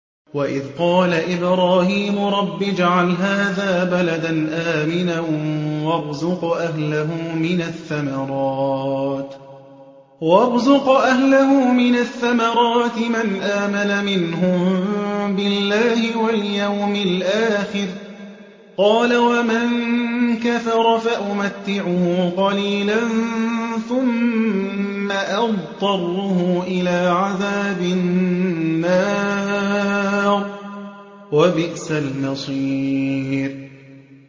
وَإِذْ قَالَ إِبْرَاهِيمُ رَبِّ اجْعَلْ هَٰذَا بَلَدًا آمِنًا وَارْزُقْ أَهْلَهُ مِنَ الثَّمَرَاتِ مَنْ آمَنَ مِنْهُم بِاللَّهِ وَالْيَوْمِ الْآخِرِ ۖ قَالَ وَمَن كَفَرَ فَأُمَتِّعُهُ قَلِيلًا ثُمَّ أَضْطَرُّهُ إِلَىٰ عَذَابِ النَّارِ ۖ وَبِئْسَ الْمَصِيرُ